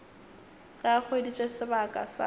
ge a hweditše sebaka sa